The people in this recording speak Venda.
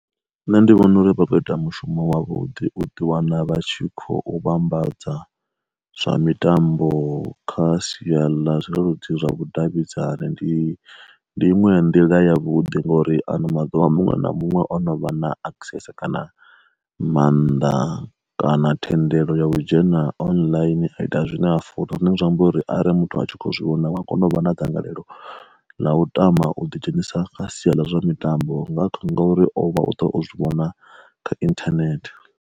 Nṋe ndi vhona uri vha khou ita mushumo wavhuḓi u ḓiwana vha tshi khou vhambadza zwa mitambo kha sia ḽa zwileludzi zwa vhudavhidzani, ndi ndi iṅwe nḓila ya vhuḓi ngori ano maḓuvha muṅwe na muṅwe o no vha na eksese kana maanḓa, kana thendelo ya u dzhena online a ita zwine a funa, zwine zwa amba uri arali muthu a tshi kho zwi vhona u a kona u vha na dzangalelo ḽa u tama u ḓi dzhenisa kha sia ḽa zwa mitambo ngori ovha o zwi vhona kha inthanethe.